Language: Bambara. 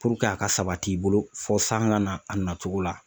a ka sabati i bolo, fɔ sanga na a nacogo la.